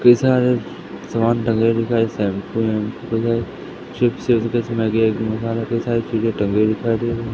कई सारे समान टंगे दिखाई शैम्पू वाम्पु है कोई ले चिप्स विक्स मैगी मसाले कई सारी चीजे टंगी हुई दिखाई दे रही--